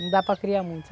Não dá para criar muito.